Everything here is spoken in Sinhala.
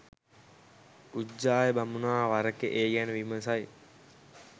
උජ්ජාය බමුණා වරෙක ඒ ගැන විමසයි